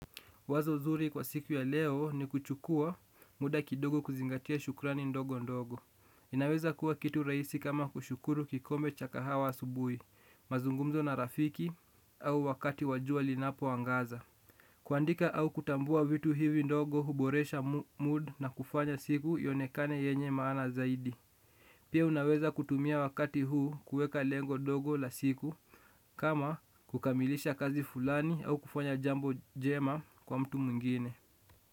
Wazo zuri kwa siku ya leo ni kuchukua muda kidogo kuzingatia shukrani ndogo ndogo. Inaweza kuwa kitu rahisi kama kushukuru kikombe cha kahawa asubuhi, mazungumzo na rafiki au wakati wa jua linapoangaza. Kuandika au kutambua vitu hivi ndogo huboresha mood na kufanya siku ionekane yenye maana zaidi. Pia unaweza kutumia wakati huu kuweka lengo dogo la siku kama kukamilisha kazi fulani au kufanya jambo jema kwa mtu mwingine.